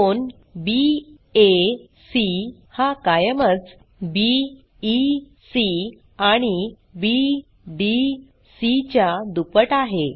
कोन बॅक हा कायमच बीईसी आणि बीडीसी च्या दुप्पट आहे